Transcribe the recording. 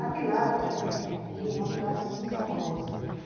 A tilápia que a gente tem aqui é uma tilápia muito saborosa.